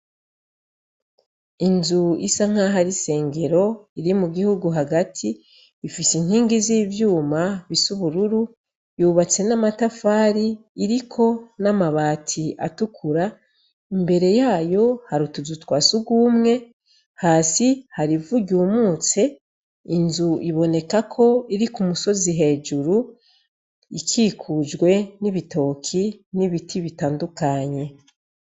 Inzu isa nkaho ari isengero iri mu gihugu hagati ifise inkingi z'ivyuma bisubururu yubatse n'amatafari iriko n'amabati atukura imbere yayo harutuzu twa sugumwe hasi hari ivu ryumutse inzu iboneka ko iri ku musozi hejuru ikikujwe n'ibitoki n'ibiti bitandukanye.